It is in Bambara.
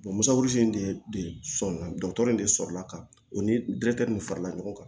in de sɔmi na dɔgɔtɔrɔ in de sɔrɔla ka o ni min farala ɲɔgɔn kan